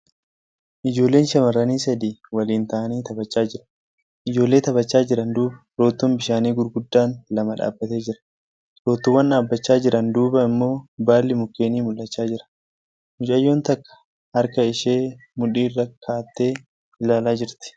Ijoolleen shamarranii sadii waliin ta'anii taphachaa jiru . Ijoollee taphachaa jiran duuba roottoon bishaanii gurguddaan lama dhaabbatee jira . Roottoowwan dhaabbachaa jiran duuba immoo baalli mukkeenii mul'achaa jira . Mucayyoon takka harka ishee mudhii irra kaa'attee ilaalaa jirti.